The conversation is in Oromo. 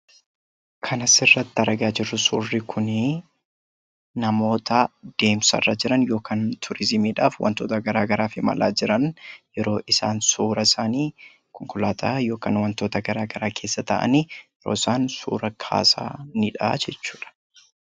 Kan asirratti argaa jirru suurri kunii namoota deemsarra jiran yookaan turiizimiidhaaf wantoota garaagaraaf imalaa jiran yeroo isaan suuraa isaanii konkolaataa yookaan wantoota garaagaraa keessa taa'anii yeroo isaan suuraa kaasanii dha jechuu dha.